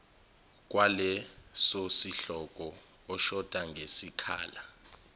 kwalesosihloko oshoda ngesikhala